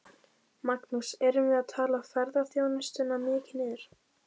Magnús: Erum við að tala ferðaþjónustuna mikið niður?